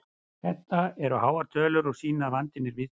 Þetta eru háar tölur og sýna að vandinn er víðtækur.